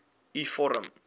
u vorm